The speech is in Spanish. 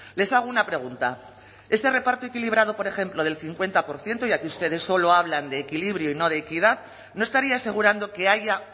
les hago una pregunta ese reparto equilibrado por ejemplo del cincuenta por ciento ya que ustedes solo hablan de equilibrio y no de equidad no estaría asegurando que haya